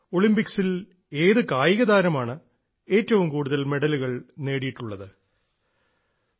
ഒളിമ്പിക്സിൽ ഏത് കായികതാരമാണ് ഏറ്റവും കൂടുതൽ മെഡലുകൾ നേടിയിട്ടുള്ളത്